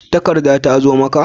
Takarda ta zo maka?